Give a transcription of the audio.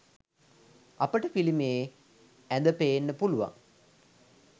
අපට පිළිමයේ ඇද පේන්න පුළුවන්.